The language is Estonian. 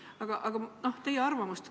Aga ma küsin teie arvamust.